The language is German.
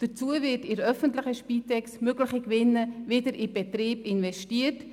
Dazu werden bei der öffentlichen Spitex mögliche Gewinne wieder in den Betrieb investiert.